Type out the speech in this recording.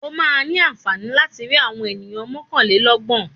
Ó máa ní àǹfààní láti rí àwọn ènìyàn mọ́kàlélọ́gbọ̀n.